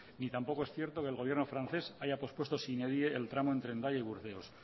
y tampoco es cierto que el gobierno francés haya pospuesto sine die el tramo entre hendaia y burdeos